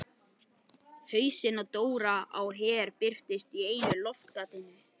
Hausinn á Dóra á Her birtist í einu loftgatinu.